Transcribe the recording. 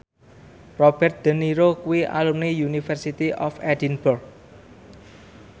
Robert de Niro kuwi alumni University of Edinburgh